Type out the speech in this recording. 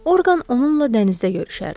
Orqan onunla dənizdə görüşərdi.